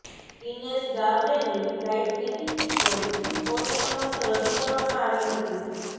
દિનેશ ગાવરેની ફ્લાઇટની ટિકિટ પણ કોર્ટ સમક્ષ રજૂ કરવામાં આવી હતી